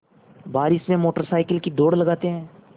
बारिश में motorcycle की दौड़ लगाते हैं